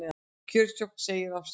Kjörstjórn segir af sér